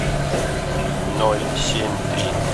ноль семь три